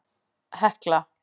Hekla